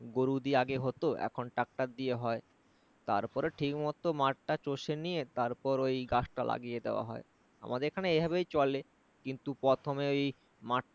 গরু দিয়ে আগে হতো এখন tractor দিয়ে হয় তারপর ঠিক মতো মাঠটা চষে নিয়ে তারপর ঐ গাছটা লাগিয়ে দেওয়া হয়। আমাদের এখানে এভাবেই চলে কিন্তু প্রথমেই মাঠ